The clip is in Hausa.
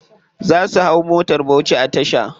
Za su hau motar bauchi a tasha.